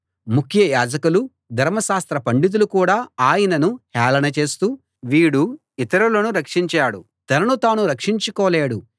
ముఖ్య యాజకులు ధర్మశాస్త్ర పండితులు కూడా ఆయనను హేళన చేస్తూ వీడు ఇతరులను రక్షించాడు తనను తాను రక్షించుకోలేడు